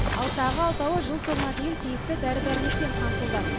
ал тағы алтауы жыл соңына дейін тиісті дәрі дәрмекпен қамтылды